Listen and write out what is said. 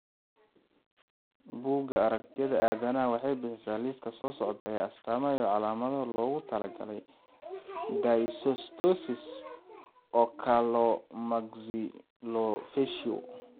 Buugga Aragtiyaha Aadanahawaxay bixisaa liiska soo socda ee astamaha iyo calaamadaha loogu talagalay dysostosis Oculomaxillofacial.